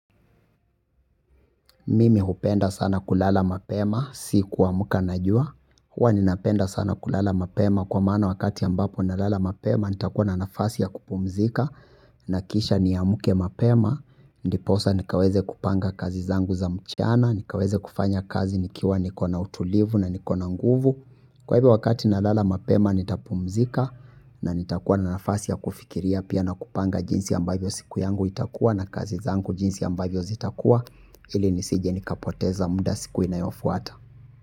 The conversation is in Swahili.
Mimi hupenda sana kulala mapema, si kuamuka najua. Huwa ninapenda sana kulala mapema kwa mana wakati ambapo nalala mapema. Nitakuwa na nafasi ya kupumzika. Nakisha niyamuke mapema. Ndiposa nikaweze kupanga kazi zangu za mchana. Nikaweze kufanya kazi nikiwa nikona utulivu na nikona nguvu. Kwa hivo wakati nalala mapema nitapumzika. Na nitakuwa na nafasi ya kufikiria pia na kupanga jinsi ambavyo siku yangu itakuwa. Na kazi zangu jinsi ambayo zitakuwa. Hili nisije nikapoteza muda siku inayofuhata.